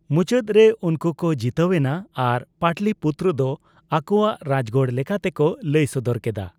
ᱢᱩᱪᱟᱹᱫ ᱨᱮ ᱩᱱᱠᱩ ᱠᱚ ᱡᱤᱛᱟᱹᱣ ᱮᱱᱟ ᱟᱨ ᱯᱟᱴᱞᱤᱯᱩᱛ ᱫᱚ ᱟᱠᱚᱣᱟᱜ ᱨᱟᱡᱜᱟᱲ ᱞᱮᱠᱟᱛᱮ ᱠᱚ ᱞᱟᱹᱭ ᱥᱚᱫᱚᱨ ᱠᱮᱫᱟ ᱾